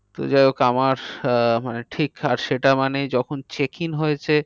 তো যাই হোক আমার আহ মানে সেটা মানে যখন checking হয়েছে